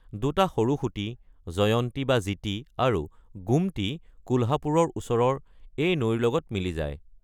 দুটা সৰু সুঁতি, জয়ন্তী বা জিতি আৰু গোমতী কোলহাপুৰৰ ওচৰৰ এই নৈৰ লগত মিলি যায়।